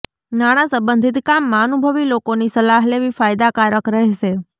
નાણા સંબંધિત કામમાં અનુભવી લોકોની સલાહ લેવી ફાયદાકારક રહેશે